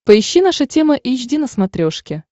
поищи наша тема эйч ди на смотрешке